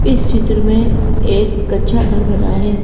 इस चित्र में एक कच्चा घर बना है ।